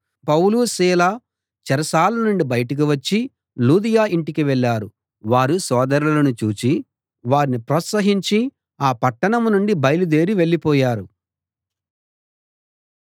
పౌలు సీల చెరసాల నుండి బయటికి వచ్చి లూదియ ఇంటికి వెళ్ళారు వారు సోదరులను చూసి వారిని ప్రోత్సహించి ఆ పట్టణం నుండి బయలుదేరి వెళ్ళిపోయారు